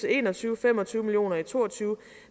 en og tyve og fem og tyve million i to og tyve